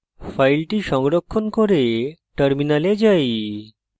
file সংরক্ষণ করে terminal যাই